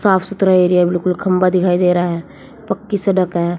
साफ सुथरा एरिया बिल्कुल खंबा दिखाई दे रहा है पक्की सड़क है।